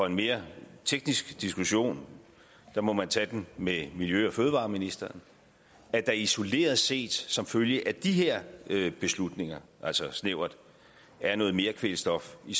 en mere teknisk diskussion må man tage med miljø og fødevareministeren at der isoleret set som følge af de her beslutninger altså snævert er noget mere kvælstof i